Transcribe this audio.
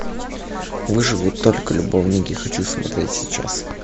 выживут только любовники хочу смотреть сейчас